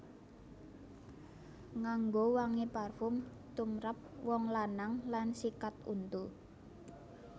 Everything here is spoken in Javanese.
Nganggo wangi parfum tumrap wong lanang lan sikat untu